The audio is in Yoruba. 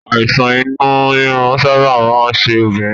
Àìsàn inú rírun sábà máa ń ṣe obìnrin